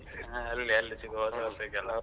ಹಾ ಅಲ್ಲಿ ಅಲ್ಲಿ ಸಿಗುವ ಹೊಸವರ್ಷಕ್ಕೆಲ.